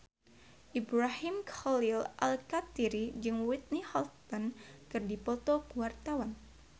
Ibrahim Khalil Alkatiri jeung Whitney Houston keur dipoto ku wartawan